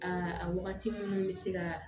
Aa a wagati minnu bɛ se ka